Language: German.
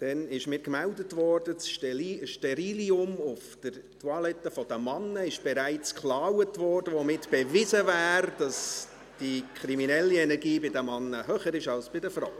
Mir wurde gemeldet, dass das Sterillium auf der Männer-Toilette bereits geklaut wurde, womit bewiesen wäre, dass die kriminelle Energie der Männer höher ist als jene der Frauen.